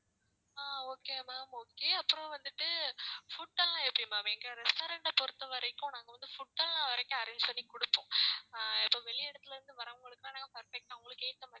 okay ma'am, okay அப்புறம் வந்துட்டு food எல்லாம் எப்படி ma'am? எங்க restaurantஅ பொறுத்தவரைக்கும், நாங்க வந்து food எல்லாம் வரைக்கும் arrange பண்ணி கொடுப்போம். ஆங், இப்ப வெளியிடத்திலிருந்து வரவங்களுக்கு எல்லாம், நாங்க perfect நான் உங்களுக்கு ஏத்த மாதிரி